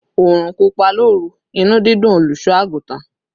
"Orun pupa loru, inu didùn oluso-agutan;